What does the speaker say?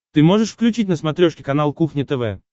ты можешь включить на смотрешке канал кухня тв